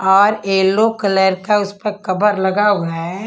और yellow colour का उस पर कवर लगा हुआ है।